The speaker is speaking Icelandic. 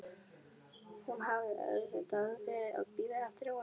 Hún hafði auðvitað verið að bíða eftir honum.